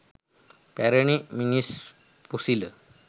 පැරණි මිනිස් පොසිල